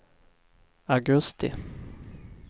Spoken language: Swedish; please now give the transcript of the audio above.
augusti